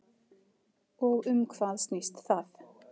Og um hvað snýst það?